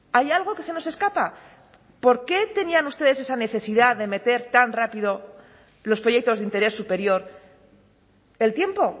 hay algo que se nos escapa por qué tenían ustedes esa necesidad de meter tan rápido los proyectos de interés superior el tiempo